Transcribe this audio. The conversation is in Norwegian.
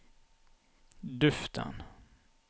duften